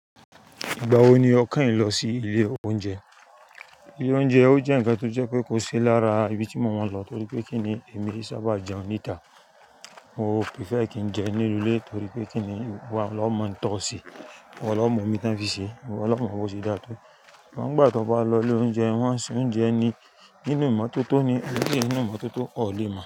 Ìgbà wo ni o keyin lọ sí ilé oúnjẹ? Ilé oúnjẹ ó jẹ́ ǹkan tó jẹ́ pé kò sí lára ibi tí mo máa ń lọ torí pé kí ni èmi e sábà jẹun nítà. Mo prefer kí n jẹ nínú ilé torí pé kí ni ìwọ ló mọ ń tọ́ se, ìwọ ló mọ̀ ohun to fi sè, iwọ́ ló mọ̀ bó se dàa tó. Ìgbà to bá lọ ilé oúnjẹ, wọ́n sè oúnjẹ ni inú ìmọ́tótó ni, keise inú ìmọ́tótó ọ̀ lé mo.